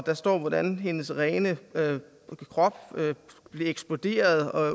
der står hvordan hendes rene krop eksploderede